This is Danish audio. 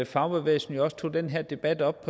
fagbevægelsen jo også tog den her debat op